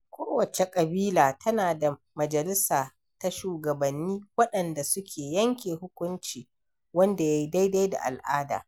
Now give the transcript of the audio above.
Kowacce ƙabila tana da majalissa ta shugabanni waɗanda suke yanke hukunci wanda ya yi daidai da al'ada.